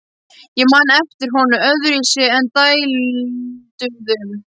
Ég man ekki eftir honum öðruvísi en dælduðum.